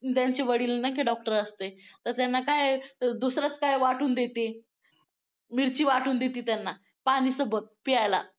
त्यांचे वडील नाही काय doctor असते तर त्यांना काय दुसरंच काय वाटून देते. मिरची वाटून देते त्यांना पाणीसोबत प्यायला.